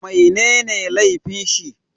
Mai ne ne laifin shi?